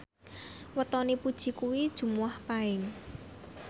wetone Puji kuwi Jumuwah Paing